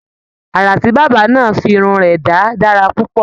Àrà tí bàbá náà fi irun rẹ dá dára púpọ̀.